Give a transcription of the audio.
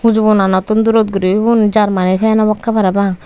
huju bonanottun durot guri ugun germeny fan obakke parapang.